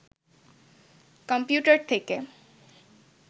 computer থেকে